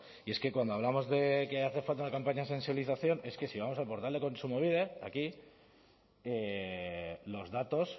y es que cuando hablamos de que hace falta una campaña de sensibilización es que si vamos al portal de kontsumobide aquí los datos